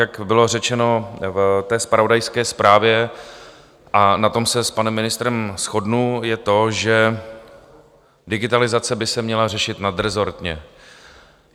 Jak bylo řečeno v té zpravodajské zprávě, a na tom se s panem ministrem shodnu, je to, že digitalizace by se měla řešit nadrezortně.